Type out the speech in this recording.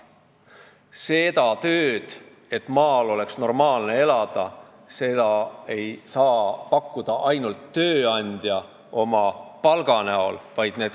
Ainult tööandjast ja tema pakutavast palgast ei piisa, et maal oleks normaalne elada.